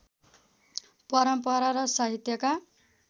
परम्परा र साहित्यका